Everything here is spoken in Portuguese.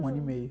Um ano e meio.